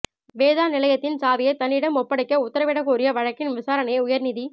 வேதா நிலையத்தின் சாவியை தன்னிடம் ஒப்படைக்க உத்தரவிட கோரிய வழக்கின் விசாரணையை உயர்நீதி